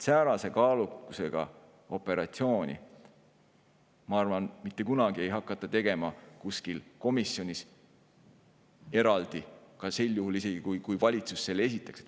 Säärase kaalukusega operatsiooni, ma arvan, ei hakata mitte kunagi tegema kuskil komisjonis eraldi, isegi mitte sel juhul, kui valitsus selle esitaks.